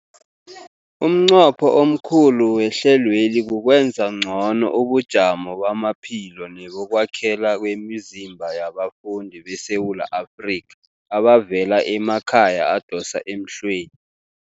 Umnqopho omkhulu wehlelweli kukwenza ngcono ubujamo bamaphilo nebokwakhela kwemizimba yabafundi beSewula Afrika abavela emakhaya adosa emhlweni.